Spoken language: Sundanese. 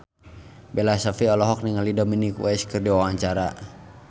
Bella Shofie olohok ningali Dominic West keur diwawancara